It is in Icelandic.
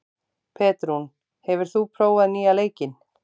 Petrún, hefur þú prófað nýja leikinn?